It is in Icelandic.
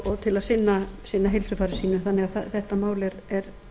og til að sinna heilsufari sínu þannig að þetta mál er